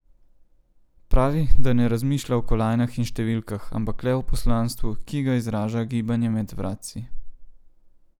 Pravi, da ne razmišlja o kolajnah in številkah, ampak le o poslanstvu, ki ga izraža gibanje med vratci.